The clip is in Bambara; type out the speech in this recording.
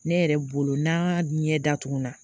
Ne yɛrɛ bolo n'a ɲɛ datugun na